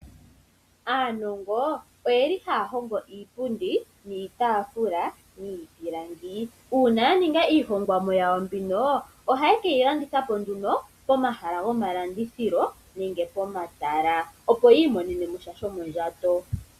Aanongo oyeli haya hongo iipundi niitaafula miipilangi. Uuna ya ninga iihongomwa yawo mbino ohaye keyi landitha po nduno pomahala gomalandithilo nenge pomatala opo yi imonene sha shomondjato.